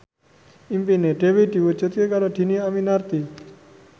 impine Dewi diwujudke karo Dhini Aminarti